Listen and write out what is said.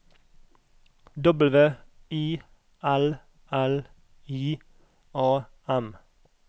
W I L L I A M